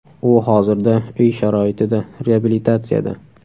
U hozirda uy sharoitida reabilitatsiyada.